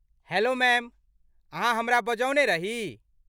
Hello ma'am, अहाँ हमरा बजौने रही?